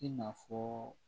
I n'a fɔ